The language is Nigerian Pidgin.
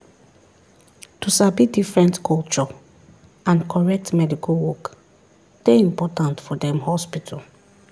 to sabi different culture and correct medical work dey important for dem hospital.